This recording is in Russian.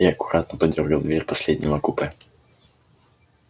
и аккуратно подёргал дверь последнего купе